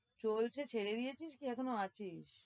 চলছে, ছেড়ে দিয়েছিস কি এখনও আছিস?